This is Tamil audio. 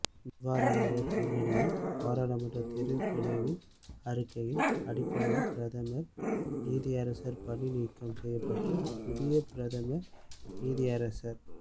இவ்வாறான ஓர் பின்னணியில் பாராளுமன்றத் தெரிவுக்குழுவின் அறிக்கையின் அடிப்படையில் பிரதம நீதியரசர் பணி நீக்கம் செய்யப்பட்டு புதிய பிரதம நீதியரசர்